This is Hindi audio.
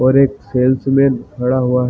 और एक सेल्स मैन खड़ा हुआ है |